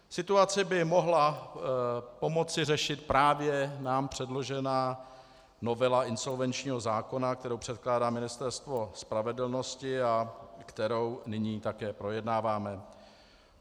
Situaci by mohla pomoci řešit právě nám předložená novela insolvenčního zákona, kterou předkládá Ministerstvo spravedlnosti a kterou nyní také projednáváme.